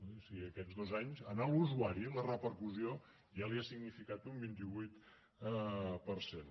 o sigui aquests dos anys a l’usuari la repercussió ja li ha significat un vint vuit per cent